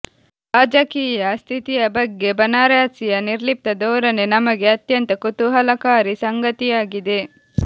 ರಾಜಕೀಯ ಸ್ಥಿತಿಯ ಬಗ್ಗೆ ಬನಾರಸಿಯ ನಿರ್ಲಿಪ್ತ ಧೋರಣೆ ನಮಗೆ ಅತ್ಯಂತ ಕುತೂಹಲಕಾರಿ ಸಂಗತಿಯಾಗಿದೆ